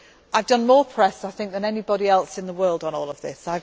I have done more press, I think, than anybody else in the world on all of